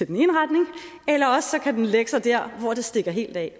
den ene retning eller også kan den lægge sig der hvor det stikker helt af